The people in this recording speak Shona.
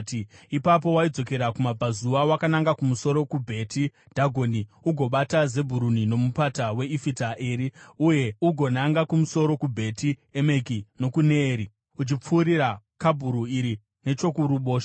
Ipapo waidzokera kumabvazuva wakananga kumusoro kuBheti Dhagoni, ugobata Zebhuruni noMupata weIfita Eri, uye ugonanga kumusoro kuBheti Emeki nokuNeyeri, uchipfuura Kabhuri iri nechokuruboshwe.